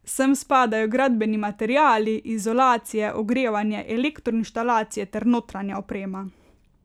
Sem spadajo gradbeni materiali, izolacije, ogrevanje, elektroinštalacije ter notranja oprema.